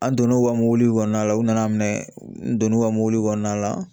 An donn'o ka mobili kɔnɔna la u nana minɛ n donna u ka mobili kɔnɔna la